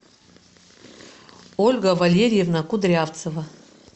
ольга валерьевна кудрявцева